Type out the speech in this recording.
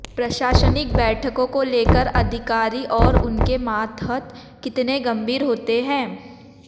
प्रशासनिक बैठकों को लेकर अधिकारी और उनके मातहत कितने गंभीर होते हैं